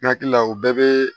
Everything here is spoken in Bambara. N hakili la o bɛɛ bɛ